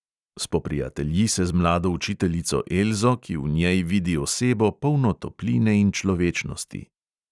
Spoprijatelji se z mlado učiteljico elzo, ki v njej vidi osebo, polno topline in človečnosti.